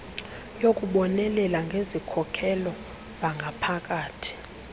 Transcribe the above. yokubonelela ngezikhokelo zangaphakathi